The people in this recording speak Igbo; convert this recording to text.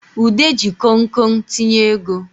Ude ji konkon tinye ego